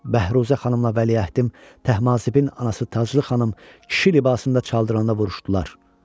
Bəhruzə xanımla vəliəhdim Təhmasibin anası Taclı xanım kişi libasında Çaldıranda vuruşdular.